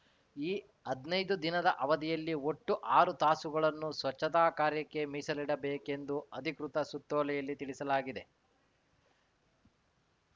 ಈ ಹದ್ನೈದು ದಿನದ ಅವಧಿಯಲ್ಲಿ ಒಟ್ಟು ಆರು ತಾಸುಗಳನ್ನು ಸ್ವಚ್ಛತಾ ಕಾರ್ಯಕ್ಕೆ ಮೀಸಲಿಡಬೇಕೆಂದು ಅಧಿಕೃತ ಸುತ್ತೋಲೆಯಲ್ಲಿ ತಿಳಿಸಲಾಗಿದೆ